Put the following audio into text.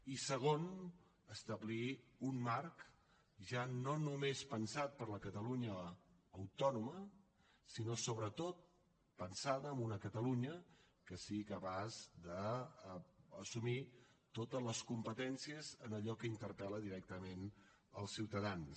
i segon establir un marc ja no només pensat per a la catalunya autònoma sinó sobretot pensat en una catalunya que sigui capaç d’assumir totes les competències en allò que interpel·la directament els ciutadans